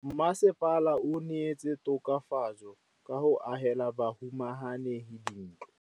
Mmasepala o neetse tokafatsô ka go agela bahumanegi dintlo.